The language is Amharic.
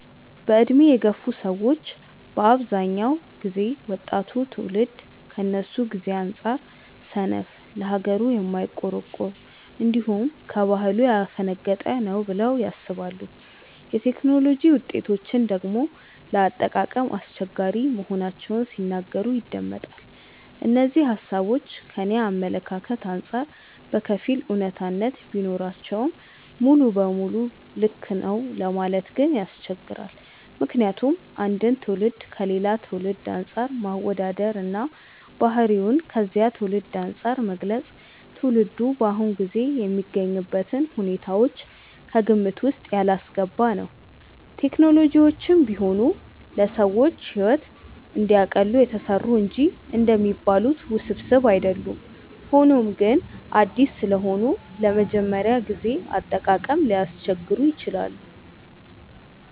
በዕድሜ የገፉ ሰዎች በአብዛኛው ጊዜ ወጣቱ ትውልድ ከነሱ ጊዜ አንጻር ሰነፍ፣ ለሀገሩ የማይቆረቆር፣ እንዲሁም ከባህሉ ያፈነገጠ ነው ብለው ያስባሉ። የቴክኖሎጂ ውጤቶችን ደግሞ ለአጠቃቀም አስቸጋሪ መሆናቸውን ሲናገሩ ይደመጣል። እነዚህ ሃሳቦች ከኔ አመለካከት አንጻር በከፊል አውነታነት ቢኖራቸውም ሙሉ ለሙሉ ልክ ነው ለማለት ግን ያስቸግራል። ምክንያቱም አንድን ትውልድ ከሌላ ትውልድ አንፃር ማወዳደር እና ባህሪውን ከዚያ ትውልድ አንፃር መግለጽ ትውልዱ በአሁኑ ጊዜ የሚገኝበትን ሁኔታዎች ከግምት ውስጥ ያላስገባ ነው። ቴክኖሎጂዎችም ቢሆኑ ለሰዎች ሕይወትን እንዲያቀሉ የተሰሩ እንጂ እንደሚባሉት ውስብስብ አይደሉም። ሆኖም ግን አዲስ ስለሆኑ ለመጀመሪያ ጊዜ አጠቃቀም ሊያስቸግሩ ይችላሉ።